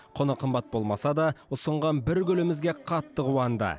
құны қымбат болмаса да ұсынған бір гүлімізге қатты қуанды